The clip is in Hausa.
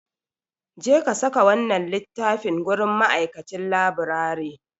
Jeka saka wannan littafin gurin ma'aikacin laburare.